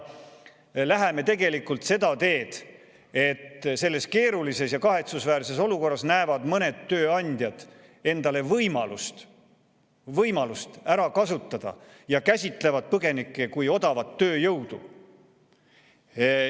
Läheme seda teed, et selles keerulises ja kahetsusväärses olukorras näevad mõned tööandjad võimalust, mida ära kasutada, ja nad käsitavad põgenikke kui odavat tööjõudu.